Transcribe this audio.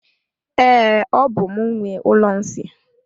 Ee, ọ bú m nwe ụlọ nsị a.